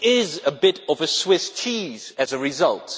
it is a bit of a Swiss cheese as a result.